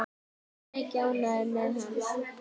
Breki: Ánægður með hann?